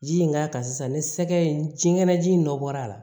Ji in k'a kan sisan ni sɛgɛ in jiŋɛnɛ ji in nɔ bɔra a la